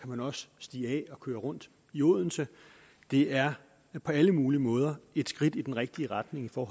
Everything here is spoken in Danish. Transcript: man også stige af og køre rundt i odense det er på alle mulige måder et skridt i den rigtige retning for